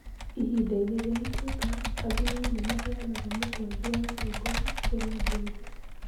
Ihinda-inĩ rĩa Ituĩka, athuri nĩ maaheaga mũkwanjũ wa ũtongoria kũrĩ andũ ethĩ.